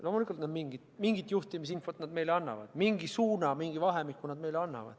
Loomulikult mingit juhtimisinfot nad meile annavad, mingi suuna, mingi vahemiku.